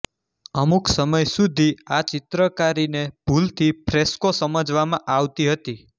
અમુક સમય સુધી આ ચિત્રકારીને ભૂલથી ફ્રેસ્કો સમજવામાં આવતી હતી